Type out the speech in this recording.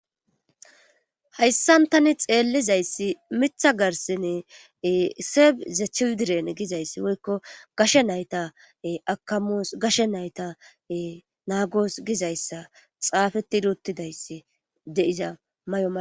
Hayssan tani xeellizayssi mitha garsine seeb zachidiren gizayssi woykko gashe nayta akamoos gashe nayta naagoos gizayssa xaafeti doottidayssi deiza may7o ma.